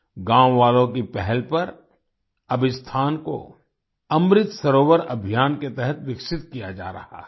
गाँव वालों की पहल पर अब इस स्थान को अमृत सरोवर अभियान के तहत विकसित किया जा रहा है